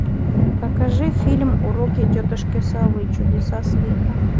покажи фильм уроки тетушки совы чудеса света